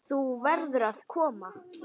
Þú verður að koma!